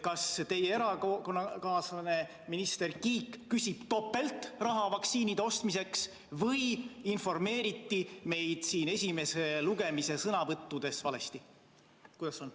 Kas teie erakonnakaaslane minister Kiik küsib topeltraha vaktsiinide ostmiseks või informeeriti meid siin esimese lugemise sõnavõttudes valesti?